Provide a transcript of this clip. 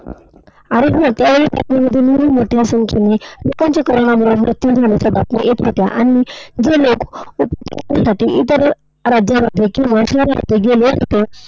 अरे हो, त्यावेळी बातम्यांमध्येही मोठ्या संख्येने लोकांचा कोरोनामुळे मृत्यू झाल्याच्या बातम्या येत होत्या. आणि जे लोक उपजीविकेसाठी इतर राज्यांमध्ये किंवा शहरांमध्ये गेले होते